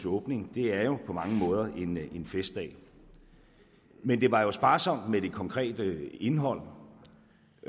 åbning er jo på mange måder en festdag men det var jo sparsomt med det konkrete indhold